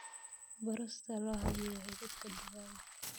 Baro sida loo habeeyo hiliibka digaagga.